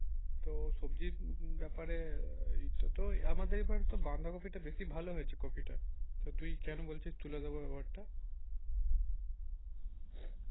তো সবজির ব্যাপারে এইটাতে আমাদের এবারে তো বাঁধা কফি টা বেশি ভালো হয়েছে কফি টা তো তুই কেন বলছিস তুলে দেবো ব্যাপারটা